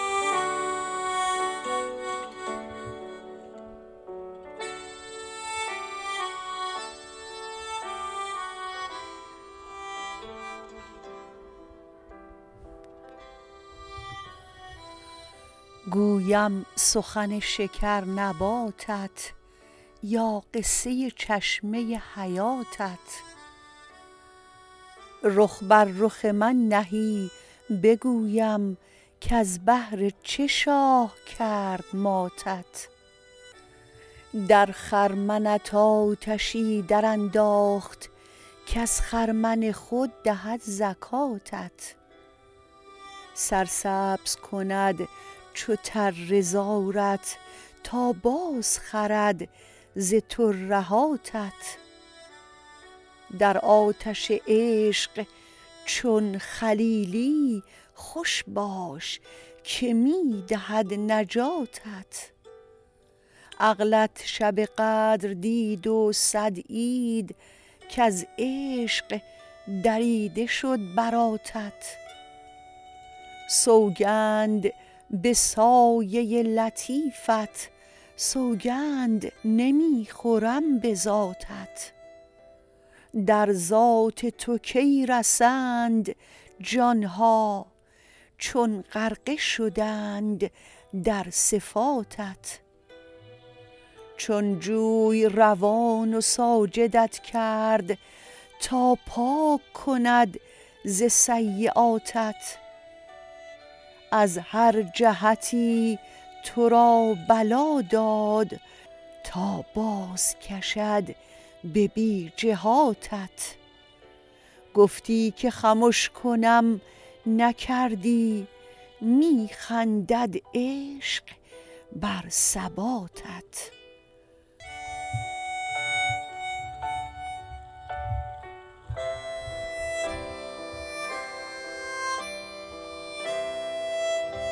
گویم سخن شکرنباتت یا قصه چشمه حیاتت رخ بر رخ من نهی بگویم کز بهر چه شاه کرد ماتت در خرمنت آتشی درانداخت کز خرمن خود دهد زکاتت سرسبز کند چو تره زارت تا بازخرد ز ترهاتت در آتش عشق چون خلیلی خوش باش که می دهد نجاتت عقلت شب قدر دید و صد عید کز عشق دریده شد براتت سوگند به سایه لطیفت سوگند نمی خورم به ذاتت در ذات تو کی رسند جان ها چون غرقه شدند در صفاتت چون جوی روان و ساجدت کرد تا پاک کند ز سییاتت از هر جهتی تو را بلا داد تا بازکشد به بی جهاتت گفتی که خمش کنم نکردی می خندد عشق بر ثباتت